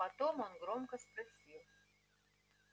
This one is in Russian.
потом он громко спросил